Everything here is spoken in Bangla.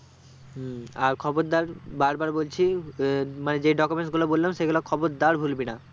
হম আর খবরদার বার বার বলছি আহ মানে যেই document গুলো বলাম সে গুলো খবরদার ভুলবি না